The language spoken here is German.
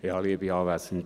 Er hat es kurz.